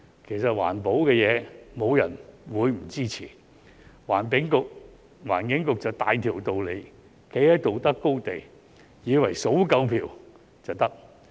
其實環保的事沒有人會不支持，環境局便大條道理站在道德高地，以為數夠票就可以。